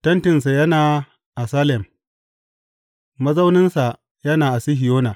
Tentinsa yana a Salem mazauninsa yana a Sihiyona.